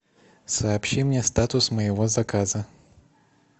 сообщи мне статус моего заказа